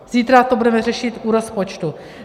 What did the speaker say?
Zítra to budeme řešit u rozpočtu.